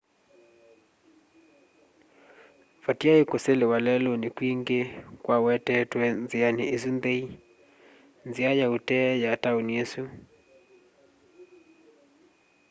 vatiaĩ kũselew'a lelũnĩ kwingĩ kwawetetwe nzĩanĩ ĩsu nthei nzĩa ya ũtee ya taũni ĩsu